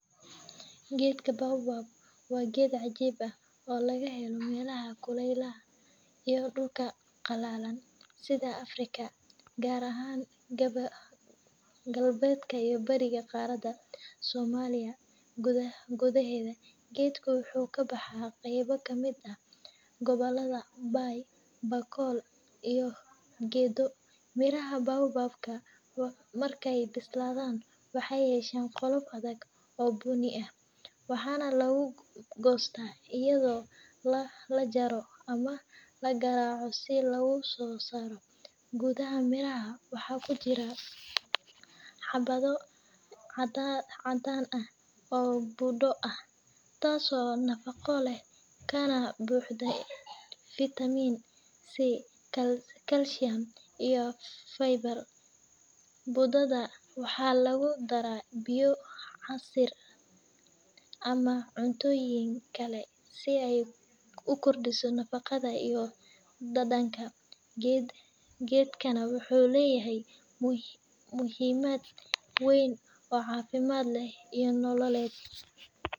Geedka Baobab waa geed cajiib ah oo laga helo meelaha kulaylaha iyo dhulka qallalan sida Afrika, gaar ahaan galbeedka iyo bariga qaaradda. Soomaaliya gudaheeda, geedkan wuxuu ka baxaa qaybo ka mid ah gobollada Bay, Bakool, iyo Gedo. Miraha Baobab-ka marka ay bislaadaan waxay yeeshaan qolof adag oo bunni ah, waxaana lagu goostaa iyadoo la jaro ama la garaaco si looga soo saaro. Gudaha miraha waxaa ku jira xabbo caddaan ah oo budo ah, taas oo nafaqo leh kana buuxda fitamiin C, kalsiyum, iyo fiber. Budada waxaa lagu daraa biyo, casiir, ama cuntooyin kale si ay u kordhiso nafaqada iyo dhadhanka. Geedkan wuxuu leeyahay muhiimad weyn oo caafimaad iyo nololeedba.